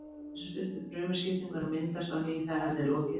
Hjúpurinn leysist upp við frumuskiptingu en myndast á ný þegar henni er lokið.